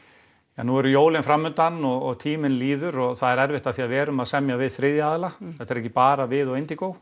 ja nú eru jólin framundan og tíminn líður og það er erfitt af því að við erum að semja við þriðja aðila þetta eru ekki bara við og